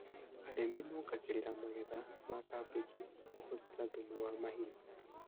Arĩmi mongagĩrĩra magetha ma kambĩji na kũhũthĩra thumu wa mahiũ